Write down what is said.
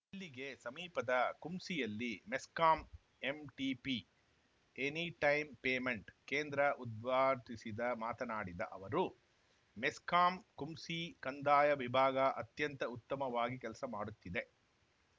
ಇಲ್ಲಿಗೆ ಸಮೀಪದ ಕುಂಸಿಯಲ್ಲಿ MESCOM ATP any time payment ಕೇಂದ್ರ ಉದ್ಘಾಟಿಸಿದ ಮಾತನಾಡಿದ ಅವರು ಮೆಸ್ಕಾಂ ಕುಂಸಿ ಕಂದಾಯ ವಿಭಾಗ ಅತ್ಯಂತ ಉತ್ತಮವಾಗಿ ಕೆಲಸ ಮಾಡುತ್ತಿದೆ